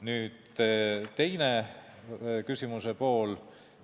Nüüd küsimuse teine pool.